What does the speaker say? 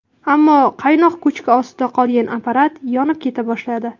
Ammo qaynoq ko‘chki ostida qolgan apparat yonib keta boshladi.